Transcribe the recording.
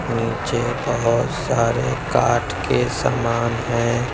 नीचे बहुत सारे काठ के सामान हैं।